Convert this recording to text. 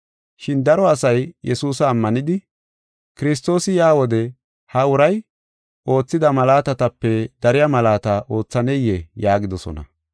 Shin daro asay Yesuusa ammanidi, “Kiristoosi yaa wode ha uray oothida malaatatape dariya malaata oothaneyee?” yaagidosona.